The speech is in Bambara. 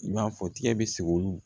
I b'a fɔ tigɛ bɛ sigi olu